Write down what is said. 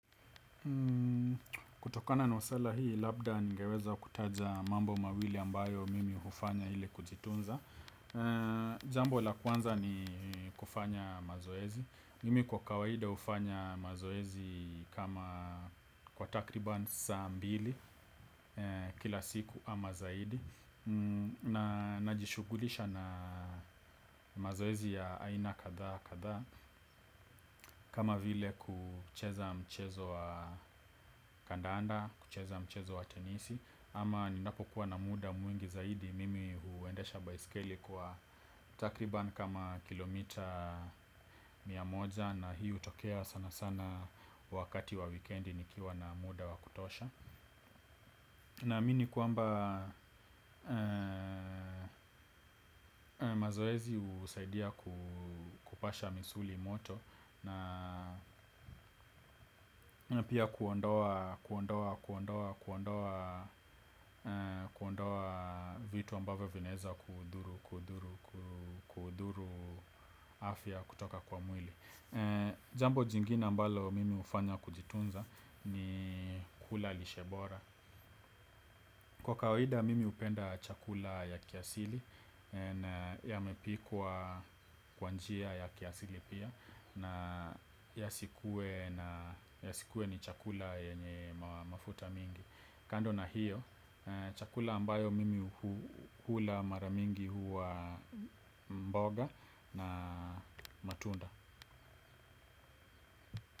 Kutokana na suala hii labda ningeweza kutaja mambo mawili ambayo mimi hufanya ili kujitunza. Jambo la kwanza ni kufanya mazoezi. Mimi kwa kawaida hufanya mazoezi kama kwa takriban saa mbili kila siku ama zaidi. Na najishughulisha na mazoezi ya aina kadhaa kadhaa. Kama vile kucheza mchezo wa kandanda, kucheza mchezo wa tenisi, au ninapokuwa na muda mwingi zaidi mimi huendesha baiskeli kwa takriban kama kilomita mia moja, na hii hutokea sanasana wakati wa wikendi nikiwa na muda wa kutosha. Naamini kwamba mazoezi husaidia kupasha misuli moto, na pia kuondoa vitu ambavyo vinaeza kudhuru afya kutoka kwa mwili. Jambo jingine ambalo mimi hufanya kujitunza ni kula lishe bora. Kwa kawaida mimi hupenda chakula ya kiasili, na yamepikwa kwa njia ya kiasili pia, na yasikuwe ni chakula yenye mafuta mingi. Kando na hiyo, chakula ambayo mimi hula mara mingi huwa mboga na matunda.